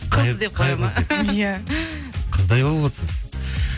ия қыздай болып отырсыз